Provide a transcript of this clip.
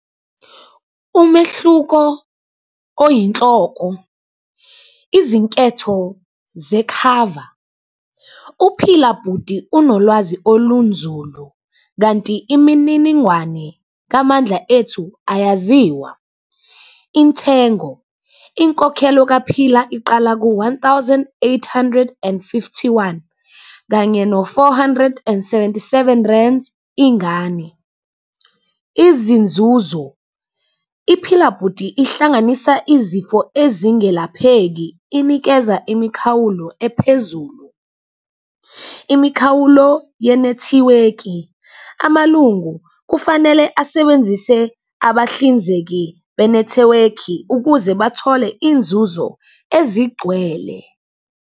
Umehluko oyinhloko, izinketho zekhava, uPhila Bhuti unolwazi olunzulu kanti imininingwane kaMandla Ethu ayaziwa. Intengo, inkokhelo kaPhila iqala ku-one thousand eight hundred and fifty-one kanye no-four hundred and seventy-seven rands ingane. Izinzuzo, iPhila Bhuti ihlanganisa izifo ezingelapheki, inikeza imikhawulo ephezulu. Imikhawulo ye-network-i, amalungu kufanele asebenzise abahlinzeki benethewekhi ukuze bathole iy'nzuzo ezigcwele.